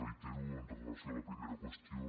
reitero amb relació a la primera qüestió